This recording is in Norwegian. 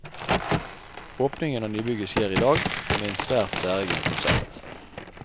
Åpningen av nybygget skjer i dag, med en svært særegen konsert.